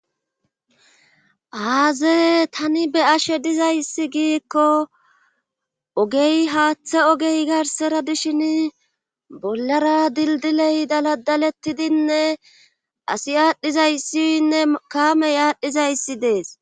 aaze tani be ashe dizayssi giikko ogey haaththe ogey garsera dishin bollara dildiley daladalettidinne asi aadhdhizayssiyynne kaamey aadhdhizayssi dees